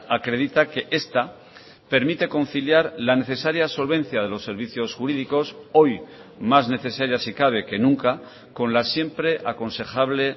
acredita que esta permite conciliar la necesaria solvencia de los servicios jurídicos hoy más necesarias si cabe que nunca con la siempre aconsejable